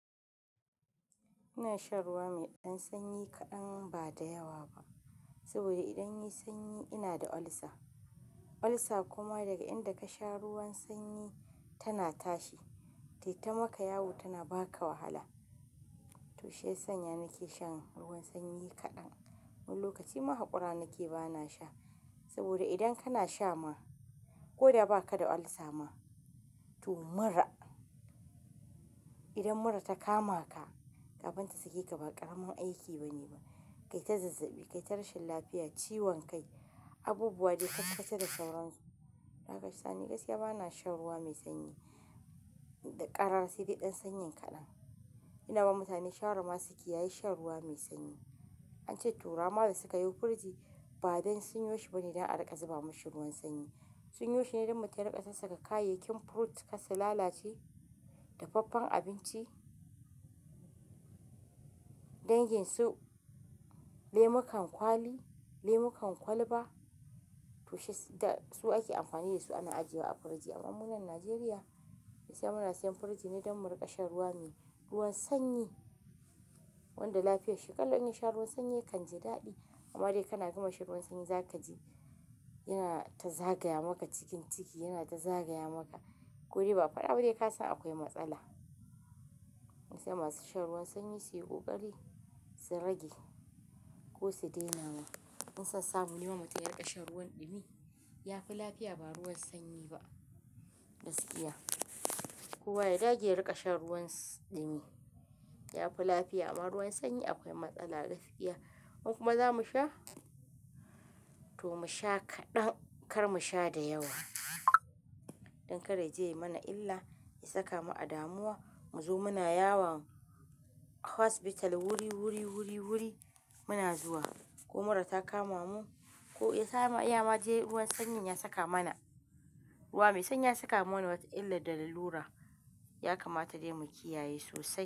Ina shan ruwa mai dan sanyi kaɗan saboda idan yai sanyi inada ulsa Ulcer kuma daga inda ka sha ruwan sanyi tana tashi. Taita maka yawo tana ba ka wahala. To shiya sanya nake shan ruwan sanyi kaɗan. Wani lokaci ma hakura nake bana sha saboda idan kana sha ma, ko da ba ka da ulcer ma, to mura. Idan mura ta kama ka, kafin ta sake ka ba ƙaramin aiki bane ba. Kai ta zazzabi, kai ta rashin lafiya, ciwon kai, abubuwa dai kakkace da sauran su. Dakasa ni gaskiya bana shan ruwa mai sanyi. Da ƙarara sai de ɗan sanyin kaɗan. Ina ba mutane shawara ma su kiyayi shan ruwa mai sanyi. An ce turawa ma da suka yi firiji ba don sinyoshi bane dan a riƙa zuba mashi ruwan sanyi. Sinyoshi ne don mutum yariƙa sarsaka kayayyakin fruit kar su lalace da faffen abinci. Danginsu lemukan kwali lemukan kwalba to she da su ake amfani da su ana ajiye wa a firiji. Amma mu nan Najeriya, sai muna siyan firiji ne don mu riƙa shan ruwa mai-- ruwan sanyi. Wanda lafiyar shi kullum in sha ruwan sanyi kan ja daɗi. Amma dai kana gama sha ruwan sanyi za kaji yana ta zagaya maka cikin ciki, yana ta zagaya maka. Ko dai ba'a faɗa ba dai ka san akwai matsala. Sai masu shan ruwan sanyi su yi ƙoƙari, su rage ko su daina ma. In sansamu ne mutum yariƙa shen ruwan ɗumi, ya fi lafiya ba ruwan sanyi ba gaskiya. Kowa ya dage ya riƙa shan ruwan ɗumi, ya fi lafiya. Amma ruwan sanyi akwai matsala gaskiya. Mu kuma za mu sha, to mu sha kaɗan kar mu sha da yawa. Don kar ya je mana illa, ya saka mu adamuwa, mu zo muna yawon hospital wuri, wuri, wuri, wuri muna zuwa. Ko mura ta kama mu, ko ya sa ma iya ma je ruwan sanyi ya saka mana. Ruwa mai sanyi ya saka mana wata illa da lura ya kamata dai mu kiyaye sosai.